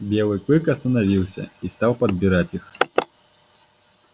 белый клык остановился и стал подбирать их